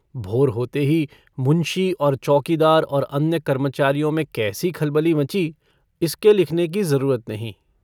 भोर होते ही मुंशी और चौकीदार और अन्य कर्मचारियों में कैसी खलबली मची इसके लिखने को जरूरत नहीं।